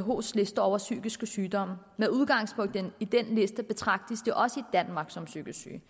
whos liste over psykiske sygdomme med udgangspunkt i den liste betragtes de også i danmark som psykisk syge